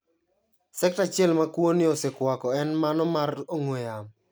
Sekta achiel ma kwo ni osekwako en mano mar ong'we yamo.